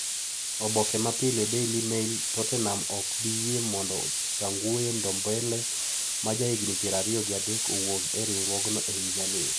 Oboke mapile(Daily Mail) Tottenham ok bi yie mondo Tanguy Ndombele, ma jahigini pier ariyo gi adek, owuog e riwruogno e higani.